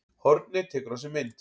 Hornið tekur á sig mynd